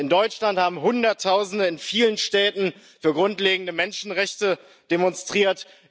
In Deutschland haben Hunderttausende in vielen Städten für grundlegende Menschenrechte demonstriert.